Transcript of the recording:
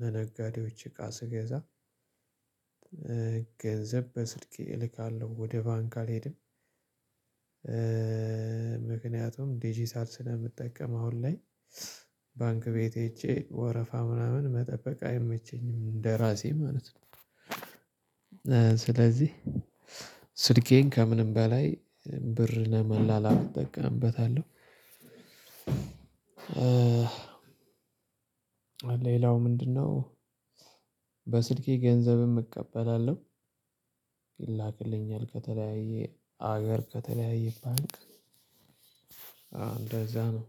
ለነጋዴዎች እቃ ስገዛ ገንዘብ በስልክ እልካለሁ ወደ ባንክ አልሄድም። ምክኒያቱም ዲጅታል ስለምጠቀም አሁን ላይ ባንክ ቤት ሄጄ ወረፋ ምናምን መጠበቅ አይመቸኝም። እንደራሴ ማለት ነው። ስለዚህ ስልኬን ከምንም በላይ ብር ለመላላክ እጠቀምበታለሁ። ሌላው ምንድነው በስልኬ ገንዘብም እቀበላለሁ። ይላክልኛል ከተለያየ ሀገር ከተለያየ ባንክ አዎ እንደዛ ነው።